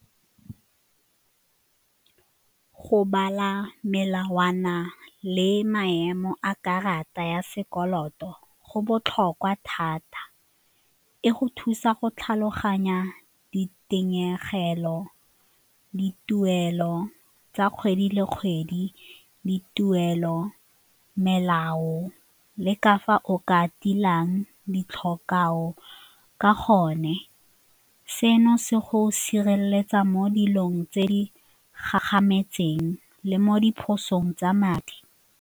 Go bala melawana le maemo a karata ya sekoloto go botlhokwa thata, e go thusa go tlhaloganya di dituelo tsa kgwedi le kgwedi, dituelo, melao le ka fa o ka tilang ka gone. Seno se go sireletsa mo dilong tse di gagametseng le mo diphosong tsa madi.